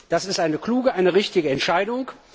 Das ist eine kluge, eine richtige Entscheidung!